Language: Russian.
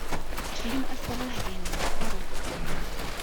фильм освобождение прорыв